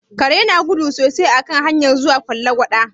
Kare na gudu sosai a kan hanyar zuwa Fallagwada.